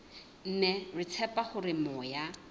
mme re tshepa hore moya